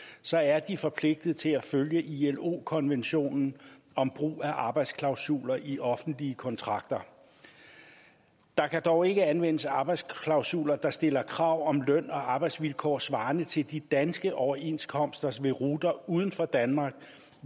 så er de forpligtet til at følge ilo konventionen om brug af arbejdsklausuler i offentlige kontrakter der kan dog ikke anvendes arbejdsklausuler der stiller krav om løn og arbejdsvilkår svarende til de danske overenskomster ved ruter uden for danmark